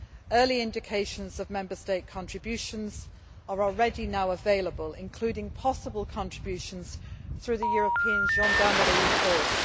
Early indications of Member State contributions are already now available, including possible contributions through the European Gendarmerie Force.